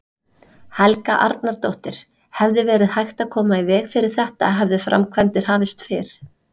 Helga Arnardóttir: Hefði verið hægt að koma í veg fyrir þetta hefðu framkvæmdir hafist fyrr?